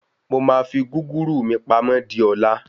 Mo máa fi gúgúrú mí pamọ́ di ọ̀la.